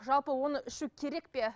жалпы оны ішу керек пе